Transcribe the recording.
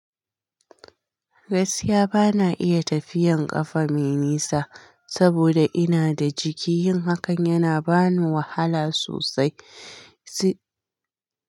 Gaskiya bana iya tafiyan kafa mai nisa saboda ina da jiki, yin hakan yana bani wahala sosai. Si-